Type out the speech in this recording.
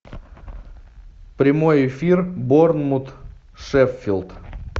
прямой эфир борнмут шеффилд